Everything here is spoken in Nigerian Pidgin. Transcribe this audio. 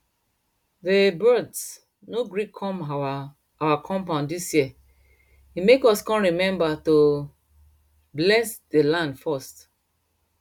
dey birds no gree come our our compound dis year e make us come remember to bless dey land first